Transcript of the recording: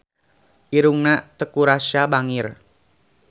Irungna Teuku Rassya bangir